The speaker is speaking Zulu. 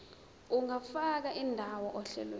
ungafaka indawo ohlelweni